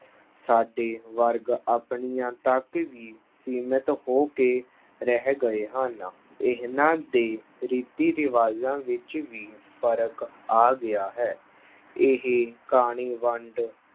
ਸਾਡੇ ਵਰਗ ਆਪਣੀਆਂ ਤੱਕ ਹੀ ਸੀਮਿਤ ਹੋ ਕੇ ਰਹਿ ਗਏ ਹਨ ਇਹਨਾਂ ਦੇ ਰੀਤੀ ਰਿਵਾਜਾਂ ਵਿੱਚ ਵੀ ਫ਼ਰਕ ਆ ਗਿਆ ਹੈ, ਇਹ ਕਾਣੀ ਵੰਡ